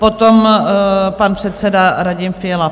Potom pan předseda Radim Fiala.